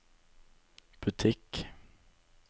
butikk